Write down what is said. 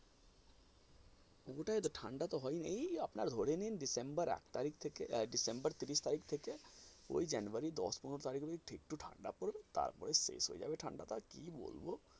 ওটাই তো ঠাণ্ডা তো আপনার হয়নি এই আপনার ধরে নিন ডিসেম্বর আট তারিখ থেকে আহ ডিসেম্বর তিরিশ তারিখ থেকে ওই জানুয়ারি দশ পনেরো তারিখ পর্যন্ত একটু ঠাণ্ডা পড়বে তারপরে শেষ হয়ে যাবে ঠাণ্ডাটা কী বলবো?